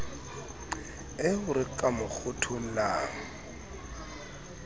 eo re ka mo kgothollang